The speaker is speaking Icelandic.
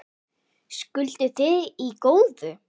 Skilduð þið í góðu?